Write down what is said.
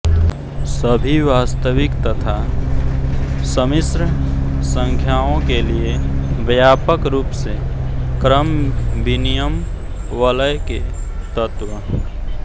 सभी वास्तविक तथा सम्मिश्र संख्याओं के लिए व्यापक रूप से क्रमविनिमय वलय के तत्व